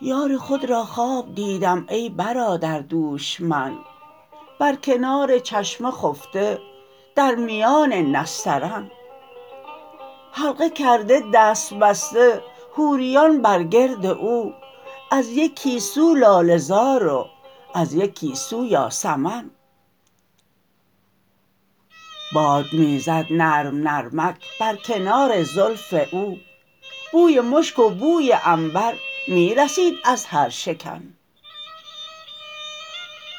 یار خود را خواب دیدم ای برادر دوش من بر کنار چشمه خفته در میان نسترن حلقه کرده دست بسته حوریان بر گرد او از یکی سو لاله زار و از یکی سو یاسمن باد می زد نرم نرمک بر کنار زلف او بوی مشک و بوی عنبر می رسید از هر شکن